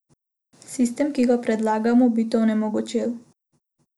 Sistem, ki ga predlagamo, bi to onemogočil.